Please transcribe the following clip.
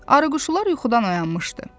Arıquşular yuxudan oyanmışdı.